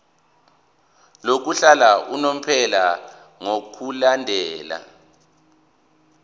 lokuhlala unomphela ngokulandela